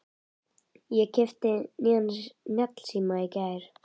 Ég keypti nýjan snjallsíma í gær.